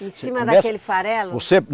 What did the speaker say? Em cima daquele farelo? você